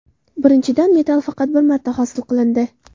Birinchidan, metall faqat bir marta hosil qilindi.